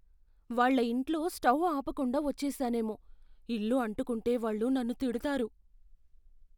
వాళ్ళ ఇంట్లో స్టౌ ఆపకుండా వచ్చేసానేమో. ఇల్లు అంటుకుంటే వాళ్ళు నన్ను తిడతారు.